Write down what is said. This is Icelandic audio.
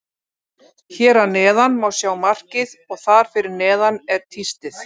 Hér að neðan má sjá markið og þar fyrir neðan er tístið.